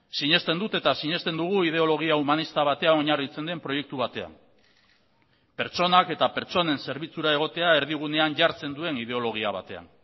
sinesten dut eta sinesten dugu ideologia humanista batean oinarritzen den proiektu batean pertsonak eta pertsonen zerbitzura egotea erdigunean jartzen duen ideologia batean